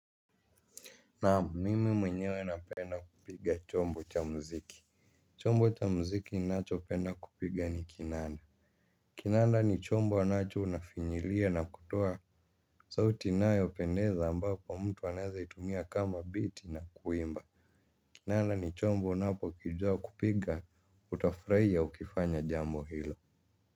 Naam mimi mwenyewe na penda kupiga chombo cha mziki. Chombo cha mziki nacho pena kupiga ni kinanda. Kinanda ni chombo anacho unafinyilia na kutoa sauti nayopendeza ambapo mtu anaeza itumia kama biti na kuimba. Kinanda ni chombo unapo kijuwa kupiga utafraiya ukifanya jambo hilo.